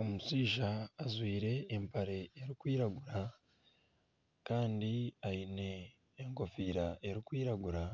Omushaija ajwaire empare erikwiragura kandi aine enkofiira erikwiragura,